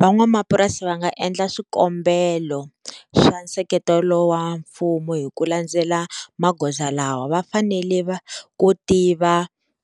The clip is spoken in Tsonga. Van'wamapurasi va nga endla swikombelo swa nseketelo wa mfumo hi ku landzela magoza lawa va fanele va ku tiva